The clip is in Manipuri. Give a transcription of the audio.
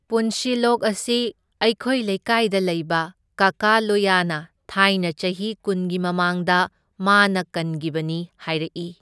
ꯄꯨꯟꯁꯤꯂꯣꯛ ꯑꯁꯤ ꯑꯩꯈꯣꯏ ꯂꯩꯀꯥꯏꯗ ꯂꯩꯕ ꯀꯀꯥ ꯂꯣꯌꯥꯅ ꯊꯥꯏꯅ ꯆꯍꯤ ꯀꯨꯟꯒꯤ ꯃꯃꯥꯡꯗ ꯃꯥꯅ ꯀꯟꯒꯤꯕꯅꯤ ꯍꯥꯏꯔꯛꯢ꯫